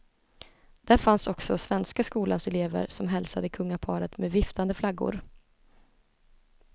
Där fanns också svenska skolans elever som hälsade kungaparet med viftande flaggor.